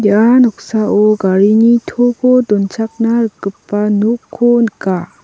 ia noksao garini toko donchakna rikgipa nokko nika.